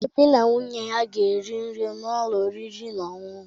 Obi na nwunye ya ga-eri nri n’ụlọ oriri na ọṅụṅụ.